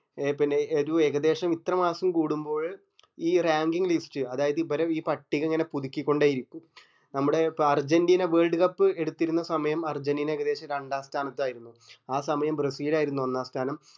പിന്നെ യെതു ഇത്ര മാസം കൂടുമ്പോൾ ഈ ranking list അതായതു ഈ പട്ടിക ഇങ്ങനെ പുതുക്കി കൊണ്ടേയിരിക്കും നമ്മടെ അർജന്റീന world cup എടുത്തിരുന്ന സമയം അർജന്റീന ഏകദേശം രണ്ടാം സ്ഥാനത്ത് ആയിരിക്കുന്നു ആ സമയം ബ്രസിൽ ആയിരുന്നു ഒന്നാം സ്ഥാനം